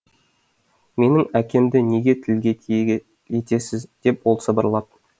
менің әкемді неге тілге тиек етесіз деп ол сыбырлап